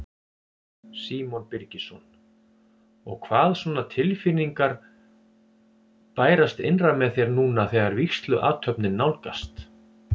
Símon Birgisson: Og hvaða svona tilfinningar bærast innra með þér núna þegar vígsluathöfnin nálgast?